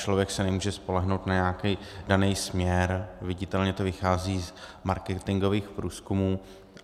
Člověk se nemůže spolehnout na nějaký daný směr, viditelně to vychází z marketingových průzkumů.